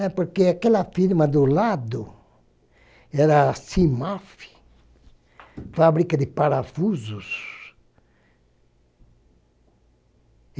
É porque aquela firma do lado era a CIMAF, fábrica de parafusos.